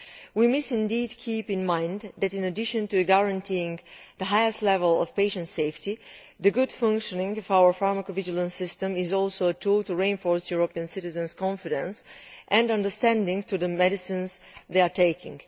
We must indeed keep in mind that, in addition to guaranteeing the highest level of patient safety, the good functioning of our pharmacovigilance system is also a tool to reinforce European citizens' confidence and understanding of the medicines they are taking.